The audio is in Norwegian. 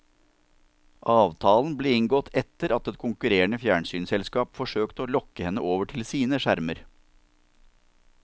Avtalen ble inngått etter at et konkurrerende fjernsynsselskap forsøkte å lokke henne over til sine skjermer.